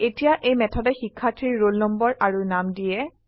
এতিয়া এই মেথডে শিক্ষাৰ্থীৰ ৰোল নম্বৰ আৰু নাম দিয়ে